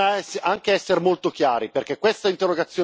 le stesse sofferenze che stanno patendo questi lavoratori.